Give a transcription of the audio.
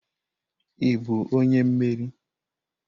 Ị bụ onye mmeri?